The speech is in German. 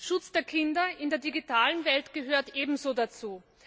Schutz der Kinder in der digitalen Welt gehört ebenso dazu.